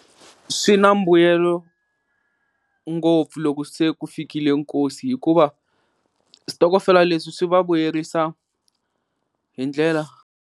Swi na mbuyelo ngopfu loko se ku fikile nkosi hikuva switokofela leswi swi va vuyerisa hi ndlela.